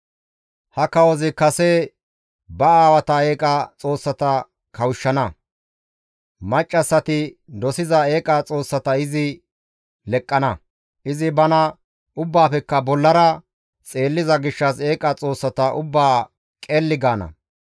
Ha kawozi kase ba aawata eeqa xoossata kawushshana; maccassati dosiza eeqa xoossata izi leqqana; izi bana ubbaafekka bollara xeelliza gishshas eeqa xoossata ubbaa qelli gaana.